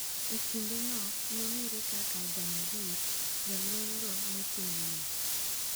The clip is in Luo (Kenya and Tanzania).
E kinde no nong'ere kaka "Janjaweed", jolweny go ne timo nek.